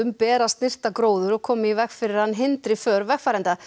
ber að snyrta gróður og koma í veg fyrir að hann hindri för vegfarenda